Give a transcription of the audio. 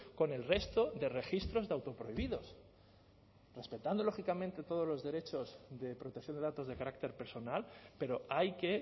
con el resto de registros de autoprohibidos respetando lógicamente todos los derechos de protección de datos de carácter personal pero hay que